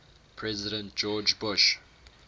president george bush